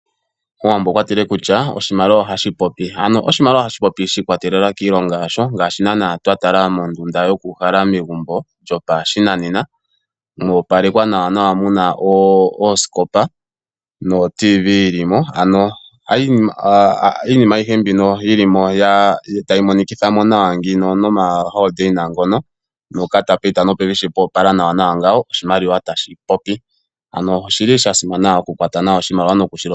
Omuwambo okwatile kutya oshimaliwa ohashi popi. Ano oshimaliwa ohashi popi shi ikwatelela kiilongo yasho ngaashi nana twa tala mondunda yoku uhala megumbo lyopashinanena mo opalekwa nawa muna oosikopa noTv yilimo. Ano iinima ayihe mbino yili mo tayi monikitha mo nawa ngino noma holodeina ngono noka tapeyita nopevi sho poopala nawa nawa ngawo oshimaliwa tashi popi. Ano oshili shasimana okukwata nawa oshimaliwa nokushi longitha.